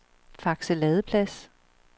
Fakse Ladeplads